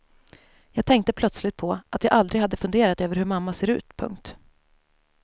Jag tänkte plötsligt på att jag aldrig hade funderat över hur mamma ser ut. punkt